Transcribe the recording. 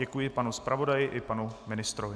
Děkuji panu zpravodaji i panu ministrovi.